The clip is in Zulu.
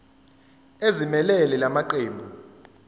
ezimelele la maqembu